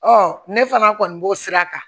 ne fana kɔni b'o sira kan